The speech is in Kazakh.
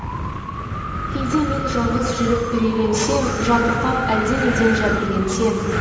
кейде мен жалғыз жүріп үрейленсем жабырқап әлденеден жәбірленсем